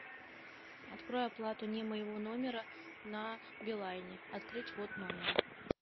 открой оплату не моего номера на билайне открыть ввод номера